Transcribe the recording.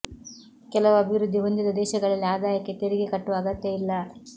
ಕೆಲವು ಅಭಿವೃದ್ಧಿ ಹೊಂದಿದ ದೇಶಗಳಲ್ಲಿ ಆದಾಯಕ್ಕೆ ತೆರಿಗೆ ಕಟ್ಟುವ ಅಗತ್ಯ ಇಲ್ಲ